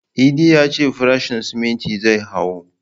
Idi ya ce farashin siminti zai hau